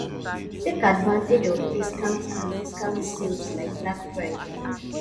take advantage of discount and discount sales like black friday